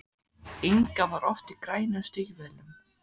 Inga var oft í grænum stígvélum.